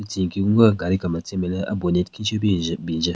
Tsü nyeki gungü gaari kemetsen nme le a-bonnet khinshü pe bin njün.